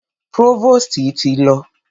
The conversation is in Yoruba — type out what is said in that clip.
Próvòstì ti lọ.